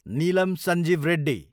Neelam Sanjiva Reddy